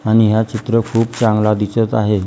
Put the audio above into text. आणि हा चित्र खूप चांगला दिसत आहे.